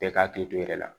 Bɛɛ ka hakili to i yɛrɛ la